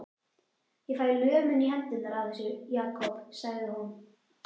Ég fæ lömun í hendurnar af þessu, Jakob, sagði hún.